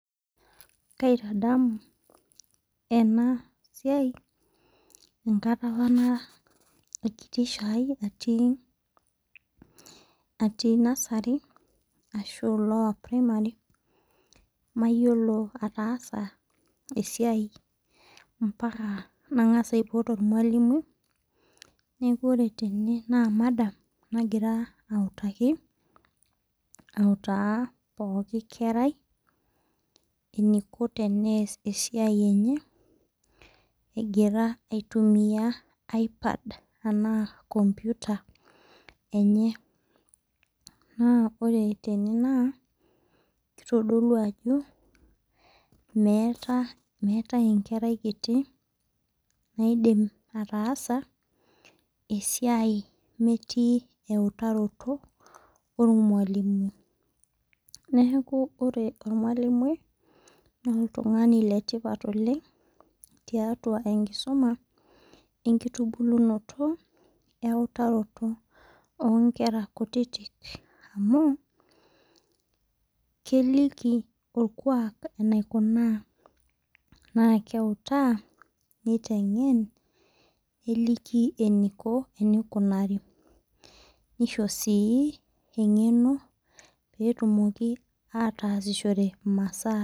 Kaitadamu ena siai enkata apa nara enkiti shai atii nursery ashua lower primary ataasa esiai mpaka nang'as aipot ormalimui ore tene naa madam nagira autaki auta pookin kerai eniko tenyas esiai enye egira aitumia ipad arashu computer enye. Naa ore tene kitodolu ajo meetae enkerai kiti naidim ataasa esiai meeti eutaroto ormalimui. Neeku ore ormalimui naa oltung'ani le tipat oleng' tiatua enkisuma enkitubunoto wee utaroto oo nkera kutitik amu keliki orkuak eneikuna naa keutaa niteng'en neliki eniko enikunari nisho sii eng'eno petumoki ataasishore imasaa.